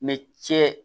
cɛ